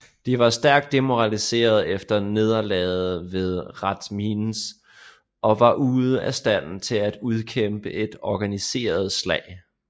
De var stærkt demoraliseret efter nederlaget ved Rathmines og var ude af stand til at udkæmpe et organiseret slag